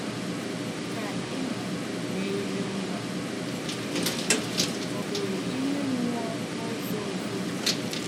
Ka ị̀ na eme yiri nwa ọhụrụ ime mmụọ, n’ụzọ ụfọdụ?